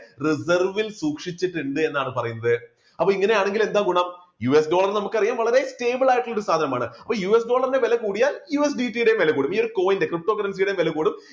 reserve ൽ സൂക്ഷിച്ചിട്ടുണ്ട് എന്നാണ് പറയുന്നത് അപ്പൊ ഇങ്ങനെയാണെങ്കിൽ എന്താ ഗുണം US Dollar നമുക്കറിയാം വളരെ stableDollar ആയിട്ട് ഒരു സാധനമാണ് US ന്റെ വില കൂടിയാൽ USBT യുടെയും വില കൂടും ഈയൊരു coin ന്റെ ptocurrency യുടെയും വില കൂടും